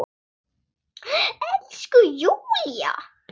Elsku Júlla!